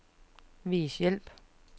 Vis hjælp.